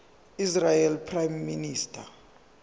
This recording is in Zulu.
israeli prime minister